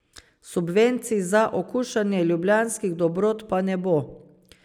Subvencij za okušanje ljubljanskih dobrot pa ne bo.